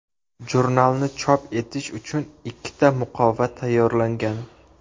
Jurnalni chop etish uchun ikkita muqova tayyorlangan.